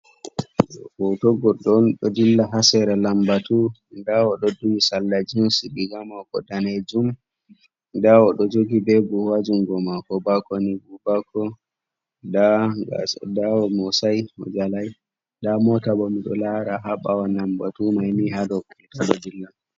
Hoto goɗɗo on ɗo dilla ha sera lambatu, nda oɗoo duhi salla jins riga mako danejum nda oɗoo jogi be buhu ha jungo mako bako ni buhu bako, nda omosai majalai nda mota bo miɗo lara haɓawa lambatu maini hado kulta ɗoi dilla.